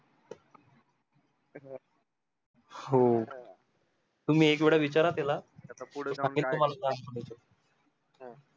हो तुम्ही एक वेडा विचारा त्याला